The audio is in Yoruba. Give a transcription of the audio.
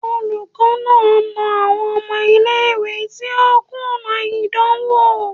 Olukọni na na awọn ọmọ ile-iwe ti o kuna idanwo